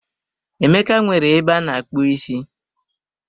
Emeka nwere ebe ana-akpu isi